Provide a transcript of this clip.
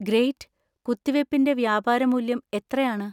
Great. കുത്തിവെപ്പിൻ്റെ വ്യാപാരമൂല്യം എത്രയാണ്.